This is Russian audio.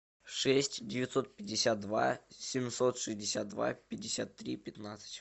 шесть девятьсот пятьдесят два семьсот шестьдесят два пятьдесят три пятнадцать